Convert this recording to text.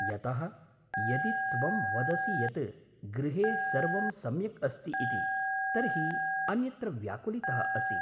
यतः, यदि त्वं वदसि यत् गृहे सर्वं सम्यग् अस्ति इति, तर्हि अन्यत्र व्याकुलितः असि।